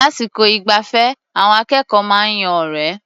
Lásìkò ìgbafẹ́, àwọn akẹ́kọ̀ó máa ń yan ọ̀rẹ́.